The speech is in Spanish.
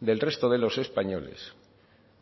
del resto de los españoles